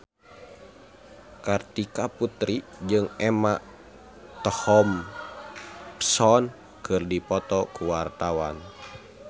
Kartika Putri jeung Emma Thompson keur dipoto ku wartawan